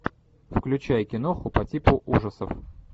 включай киноху по типу ужасов